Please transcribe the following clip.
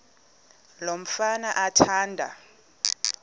lo mfana athanda